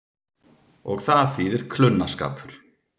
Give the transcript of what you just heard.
Og það þýðir klunnaskapur.